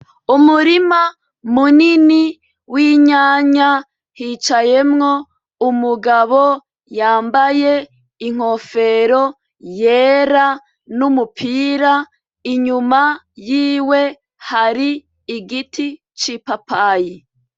Umurima munini w'inyanya hicayemwo umugabo yambaye inkofero yera n'umupira inyuma yiwe hari igiti c'i papayi.